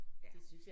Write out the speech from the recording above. Ja